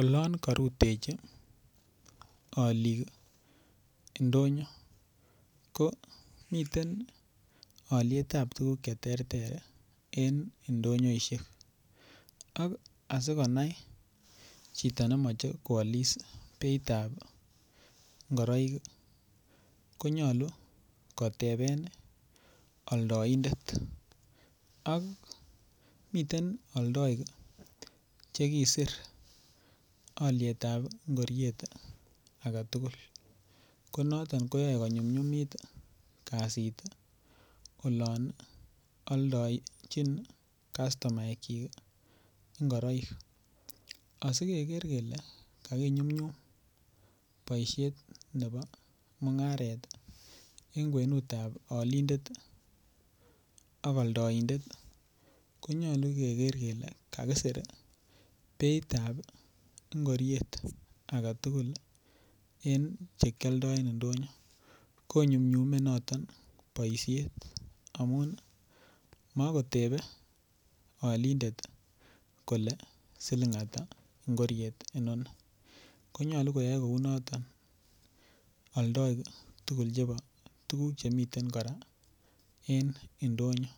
Olon karutechi olik ndonyo ko miten olietab tukuk cheterter en ndonyoishek ak asikonai chito nemoche koalis beitab ngoroik konyolu koteben oldoindet ak miten oldoik chekisir olietab ngoriet age tugul ko noton koyoei konyumnyumit kasit olon oldochin kastomaek chik ngoroik asikeker kele kakinyumnyum boishet nebo mung'aret ing' kwenutab olindet ak oldoindet konyolu keker kele kakisir beitab ngoriet agetugul en chekioldoen ndonyo konyumnyumei noton boishet amun makotebe olindet kole siling' ata ngoriet noni konyolu koyoei kou noto oldoik tugul chebo tukuk chemiten kora en ndonyo